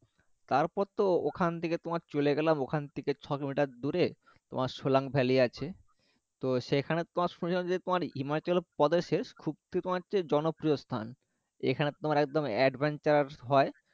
তারপর তো অখন থেকে তোমার চলে গেলাম ওখান থেকে ছয় কিলোমিটার দূরে তোমার সোলাংভাল্লি আছে তো সেখানে তোমার শুনেছিলাম যে হিমাচল প্রদেশের খুব জনপ্রিয় স্থান এখানে তোমার একদম adventure হয়